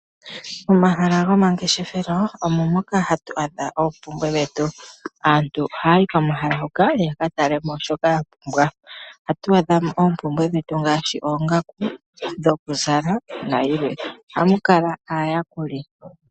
Omahala goma ngeshefelo omo moka hatu adha oompumbwe dhetu aantu ohaayi komahala ngoka yaka talemo shoka yapumbwa. Ohatu adhamo oompumbwe dhetu ngaashi oongaku dhoku zala nayilwe. Ohamu kala aayakuli.